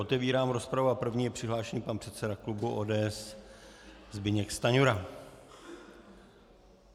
Otevírám rozpravu a první je přihlášen pan předseda klubu ODS Zbyněk Stanjura.